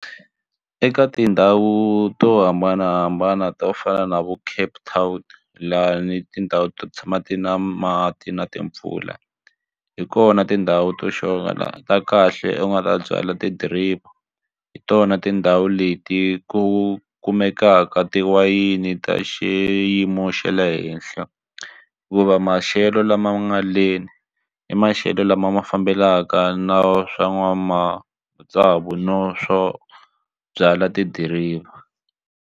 Eka tindhawu to hambanahambana to fana na vo Cape Town lani tindhawu to tshama ti na mati na timpfula hi kona tindhawu to sure la ta kahle u nga ta byala ti-driver hi tona tindhawu leti ku kumekaka tiwayini ta xiyimo xa le henhla hikuva maxelo lama nga leni i maxelo lama ma fambelaka na swa n'wa matsavu na swo byala tidiriva.